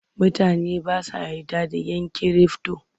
Mutane ba sa yarda da ‘yan kirifto.